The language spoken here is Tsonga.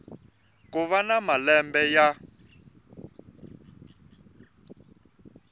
ku va na malembe ya